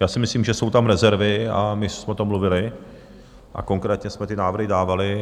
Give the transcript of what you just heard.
Já si myslím, že jsou tam rezervy, a my jsme o tom mluvili a konkrétně jsme ty návrhy dávali.